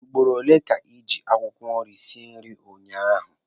Ugboro ole ka ị ji akwụkwọ nri sie nri ụnyaahụ?